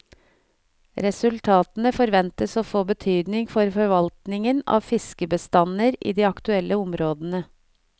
Resultatene forventes å få betydning for forvaltningen av fiskebestander i de aktuelle områdene.